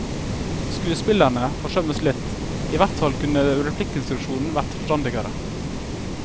Skuespillerne forsømmes litt, i hvert fall kunne replikkinstruksjonen vært forstandigere.